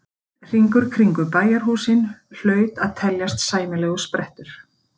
Einn hringur kringum bæjarhúsin hlaut að teljast sæmilegur sprettur.